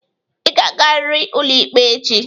Ị ga-agarịrị ụlọikpe echi!